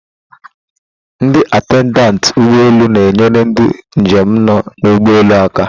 Ndị atendentị ụgbọ elu na-enyere ndị njem nọ na ugbọelu aka.